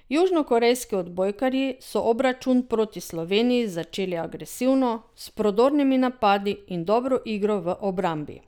Južnokorejski odbojkarji so obračun proti Sloveniji začeli agresivno, s prodornimi napadi in dobro igro v obrambi.